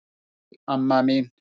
Sæl amma mín.